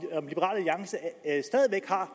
har